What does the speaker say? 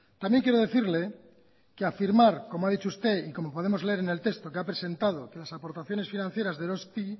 también quiero decirle que afirmar como ha dicho usted y como podemos leer en el texto que ha presentado que las aportaciones financieras de eroski